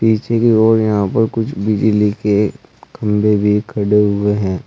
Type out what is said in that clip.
पीछे की ओर यहां पर कुछ बिजली के खंभे भी खड़े हुए हैं।